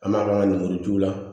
An b'a lenburuju la